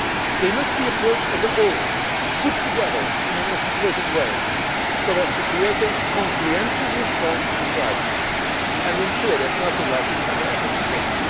They must be approached as a whole put together in an articulated way, so as to create a comprehensive response to the crisis, and to ensure that nothing like it ever happens